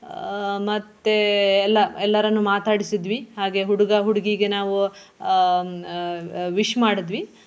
ಆಹ್ ಮತ್ತೆ ಎಲ್ಲ ಎಲ್ಲರನ್ನು ಮಾತಾಡಿಸಿದ್ವಿ ಹಾಗೆ ಹುಡುಗ ಹುಡುಗಿಗೆ ನಾವು ಹ್ಮ್ ಆಹ್ ಆಹ್ wish ಮಾಡಿದ್ವಿ.